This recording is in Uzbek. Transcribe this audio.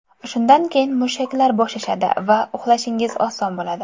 Shundan keyin mushaklar bo‘shashadi va uxlashingiz oson bo‘ladi.